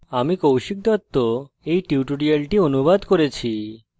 আমি কৌশিক দত্ত এই টিউটোরিয়ালটি অনুবাদ করেছি